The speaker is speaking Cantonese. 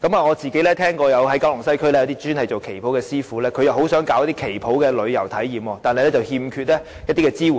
我曾聽聞九龍西一些專門製作旗袍的師父很想舉辦旗袍旅遊體驗，但欠缺支援。